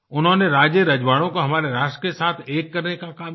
उन्होंने राजेरजवाड़ो को हमारे राष्ट्र के साथ एक करने का काम किया